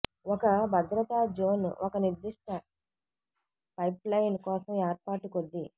ఒక భద్రతా జోన్ ఒక నిర్దిష్ట పైప్లైన్ కోసం ఏర్పాటు కొద్దీ